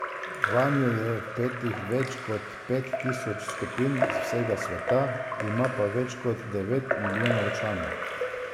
Vanjo je vpetih več kot pet tisoč skupin z vsega sveta, ima pa več kot devet milijonov članov.